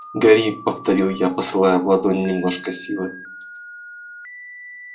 гори повторил я посылая в ладонь немножко силы